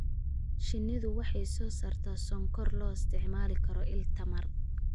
Shinnidu waxay soo saartaa sonkor loo isticmaali karo il tamar.